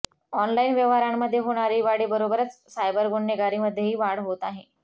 online व्यवहारांमध्ये होणारी वाढीबरोबरच सायबर गुन्हेगारीमध्येही वाढ होत आहे